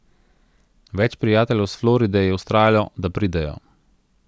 Več prijateljev s Floride je vztrajalo, da pridejo.